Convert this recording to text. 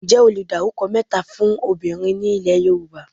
Ǹjẹ́ o le dárúkọ mẹ́ta fún obìnrin ni ilé Yorùbá?